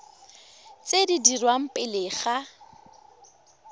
tse di dirwang pele ga